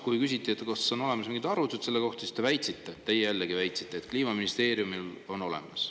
Kui küsiti, kas on olemas mingid arvutused selle kohta, siis te väitsite – teie jällegi väitsite –, et Kliimaministeeriumil on need olemas.